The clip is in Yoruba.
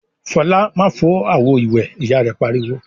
"Fọlá má fọ́ àwo-ìwẹ̀!" Ìyá rẹ̀ pariwo.